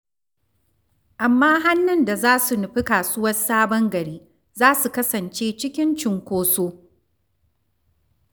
Amma hannun da za su nufi kasuwar Sabon Gari, za su kasance cikin cunkoso.